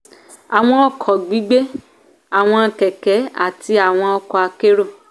àwọn ọkọ̀ gbígbé àwọn kẹ̀kẹ́ àti àwọn ọkọ akérò